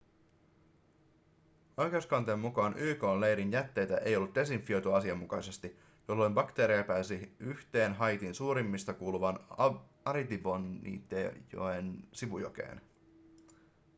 oikeuskanteen mukaan yk:n leirin jätteitä ei ollut desinfioitu asianmukaisesti jolloin bakteereja pääsi yhteen haitin suurimmista kuuluvan artibonitejoen sivujokeen